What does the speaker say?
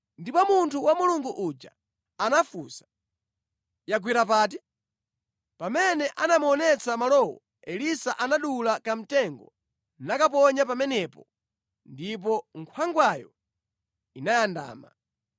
Ndipo munthu wa Mulungu uja anafunsa, “Yagwera pati?” Pamene anamuonetsa malowo, Elisa anadula kamtengo nakaponya pamenepo, ndipo nkhwangwayo inayandama.